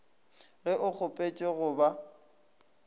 ge o kgopetše go ba